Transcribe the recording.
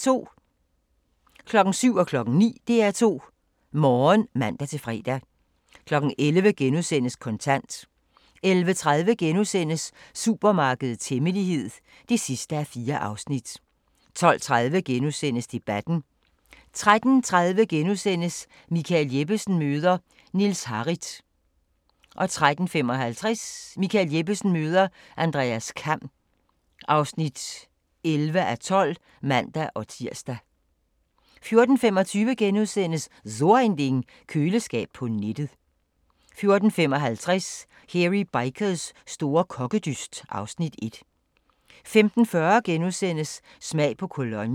07:00: DR2 Morgen (man-fre) 09:00: DR2 Morgen (man-fre) 11:00: Kontant * 11:30: Supermarkedets hemmelighed (4:4)* 12:30: Debatten * 13:30: Michael Jeppesen møder... Niels Harrit (10:12)* 13:55: Michael Jeppesen møder ... Andreas Kamm (11:12)(man-tir) 14:25: So Ein Ding: Køleskab på nettet * 14:55: Hairy Bikers store kokkedyst (Afs. 1) 15:40: Smag på Cologne *